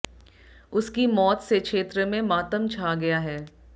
उसकी मौत से क्षेत्र में मातम छा गया है